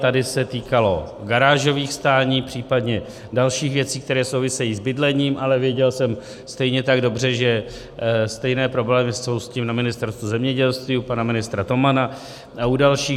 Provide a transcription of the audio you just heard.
Tady se týkalo garážových stání, případně dalších věcí, které souvisejí s bydlením, ale věděl jsem stejně tak dobře, že stejné problémy jsou s tím na Ministerstvu zemědělství u pana ministra Tomana a u dalších.